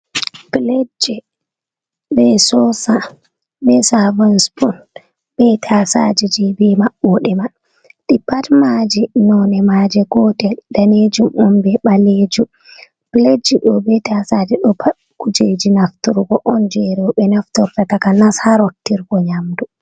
Pletji be sosa, be savin spun, be tasaaje jei be maɓɓode man. Ɗi pat maaji none maje gotel daneejum on be ɓaleejum. Pletje ɗo be tasaaje ɗo pat kujeji nafturgo on jei rowɓe naftorta takanas ha rottirgo nyamdu.